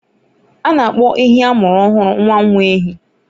A na-akpọ ehi amụrụ ọhụrụ nwa nwa ehi.